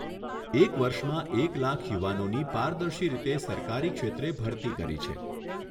એક વર્ષમાં એક લાખ યુવાનોની પારદર્શી રીતે સરકારી ક્ષેત્રે ભરતી કરી છે.